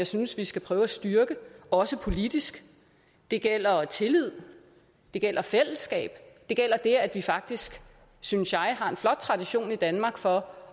synes vi skal prøve at styrke også politisk det gælder tillid det gælder fællesskab og det gælder det at vi faktisk synes jeg har en flot tradition i danmark for